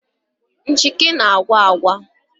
Nchịkị na-agwa agwa